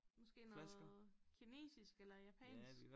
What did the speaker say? Måske noget kinesisk eller japansk